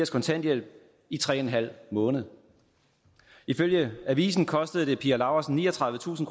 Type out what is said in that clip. kontanthjælp i tre en halv måneder ifølge avisen kostede det pia laursen niogtredivetusind